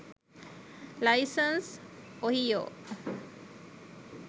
license ohio